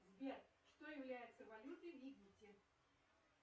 сбер что является валютой в египте